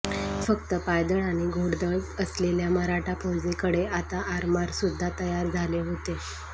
फक्त पायदळ आणि घौडदळ असलेल्या मराठा फौजेकडे आता आरमार सुद्धा तयार झाले होते